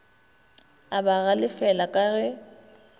a ba galefela ka ge